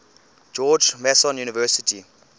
george mason university